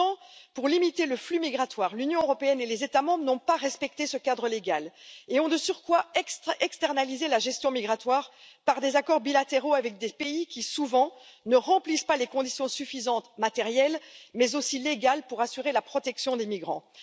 Pourtant, pour limiter le flux migratoire, l'Union européenne et les États membres n'ont pas respecté ce cadre légal et ont de surcroît externalisé la gestion migratoire par des accords bilatéraux avec des pays qui, souvent, ne remplissent pas les conditions suffisantes matérielles, mais aussi légales, pour assurer la protection des migrants.